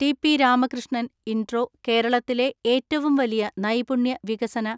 TP Ramakrishnan (ഇൻട്രോ) കേരളത്തിലെ ഏറ്റവും വലിയ നൈപുണ്യ വികസന